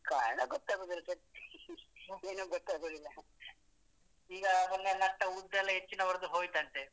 ಕಾರಣ ಗೊತ್ತಗುದಿಲ್ಲ sir ಏನೂ ಗೊತ್ತಾಗೋದಿಲ್ಲ . ಈಗಾ ಮೊನ್ನೆಯಲ್ಲ ಭತ್ತ ಉದ್ದು ಎಲ್ಲ ಹೆಚ್ಚಿನವರುದು ಹೋಯ್ತ್ ಅಂತೆ.